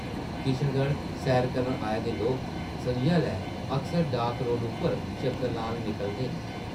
किशनगढ़ सैर करन आए दे लोक सʼञां’लै अक्सर डाक रोड़ उप्पर चक्कर लान निकलदे न ।